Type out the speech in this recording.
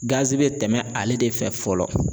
bi tɛmɛ ale de fɛ fɔlɔ